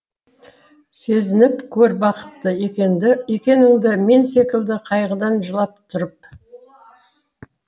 сезініп көр бақытты екеніңді мен секілді қайғыдан жылап тұрып